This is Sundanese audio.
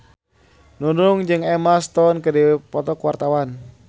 Nunung jeung Emma Stone keur dipoto ku wartawan